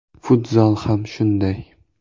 Futzal ham shunday.